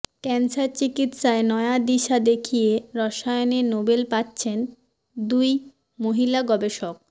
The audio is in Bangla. ক্যানসার চিকিৎসায় নয়া দিশা দেখিয়ে রসায়নে নোবেল পাচ্ছেন দুই মহিলা গবেষক